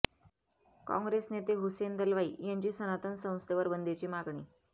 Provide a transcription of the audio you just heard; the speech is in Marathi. काँग्रेस नेते हुसेन दलवाई यांची सनातन संस्थेवर बंदीची मागणी